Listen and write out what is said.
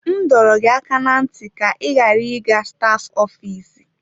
M dọrọ gị aka ná ntị ka ị ghara ịga staf ofiisi!